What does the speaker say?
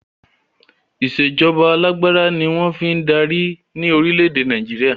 Ìsèjọba alàgbàda ní wọ́n fii ń darí ni Orílẹ̀ èdè Nàìjíríà